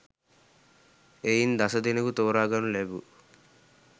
එයින් දස දෙනෙකු තෝරාගනු ලැබූ